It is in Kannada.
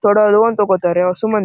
ತೊಡ ಲೋನ್ ತಗೋತಾರೆ ಹೊಸು ಮಂದಿ--